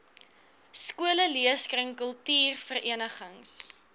skole leeskringe kultuurverenigings